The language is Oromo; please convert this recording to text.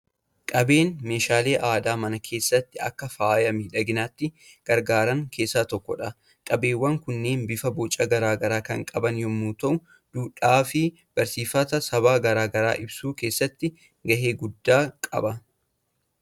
Qabeen meeshaalee aadaa mana keessatti akka faaya miidhaginaatti gargaaran keessaa tokkodha. Qabeewwan kunneen bifaa boca garaa garaa kan qaban yommuu ta'u, duudhaa fi barsiifata saba garaa garaa ibsuu keessatti gahee guddaa qaba.